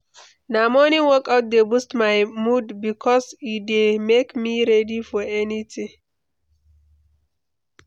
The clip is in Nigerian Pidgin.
Na morning workout dey boost my mood bikos e dey make me ready for anything.